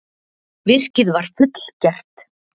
Virkið var fullgert.